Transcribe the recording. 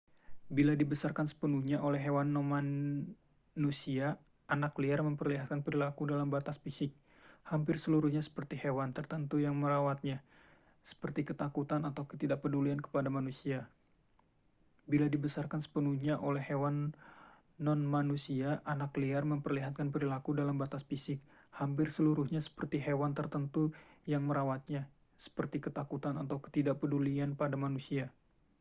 bila dibesarkan sepenuhnya oleh hewan nonmanusia anak liar memperlihatkan perilaku dalam batas fisik hampir seluruhnya seperti hewan tertentu yang merawatnya seperti ketakutan atau ketidakpedulian kepada manusia